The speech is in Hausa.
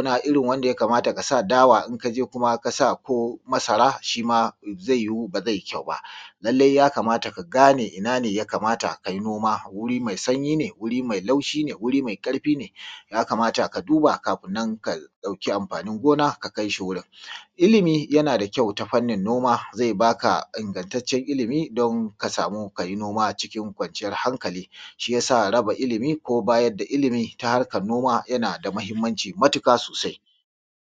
gona irin wanda ya kamata ka sa dawa. In ka je ka sa kuma ko masara, za iyu, amma ba za i yi ƙyau ba. Lallai ya kamata ka gane ina ne ya kamata kai noma. Wuri mai sanyi ne? Wuri mai laushi ne? Wuri mai ƙarfi ne? Ya kamata ka duba kafin nan, ka ɗauki amfanin gona, ka kaishi wurin. Ilimi yana da ƙyau ta fannin noma. Zai ba ka ƙanƙattaccen ilimi, don ka samu kai noma a cikin ƙwanciyar hanƙali. Shi ya sa, raba ilimi, bayar da ilimi, tana da matuƙar mahimmanci sosai.